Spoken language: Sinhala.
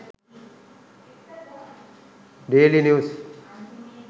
daily news